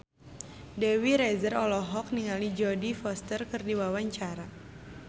Dewi Rezer olohok ningali Jodie Foster keur diwawancara